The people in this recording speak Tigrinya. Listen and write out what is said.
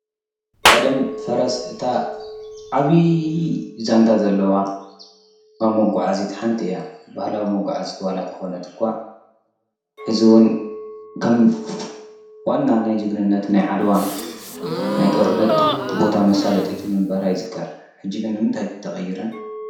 ቀደም ፈረስ እታ ዓብይ ዛንታ ዘለዋ ካብ መጓዓዚት ሓንቲ እያ። ኣብ ብህላዊ መጋዓዚት ሓንቲ እንተኮነት እኳ ዋላ ተኾነት እኳ ሕዚ እዉን ከም ዋና ናይ ጅግንነት ናይ ዓድዋ ናይ ጦርነት ቦታ መሣለጢት ምንበራ ይዝከር ሕጂ ግን ንምንታይ ተቐይረ?